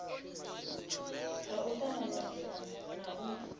ha u tanganedza na u